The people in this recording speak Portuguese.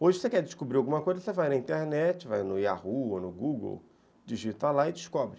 Hoje, se você quer descobrir alguma coisa, você vai na internet, vai no Yahoo ou no Google, digita lá e descobre.